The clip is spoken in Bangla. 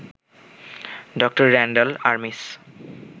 ড. র‍্যান্ডাল আরমিস